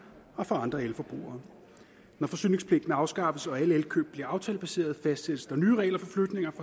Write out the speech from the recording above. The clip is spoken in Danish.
og for andre elforbrugere når forsyningspligten afskaffes og alle elkøb bliver aftalebaserede fastsættes der nye regler for flytning